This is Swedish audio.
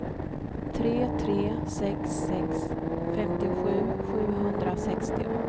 tre tre sex sex femtiosju sjuhundrasextio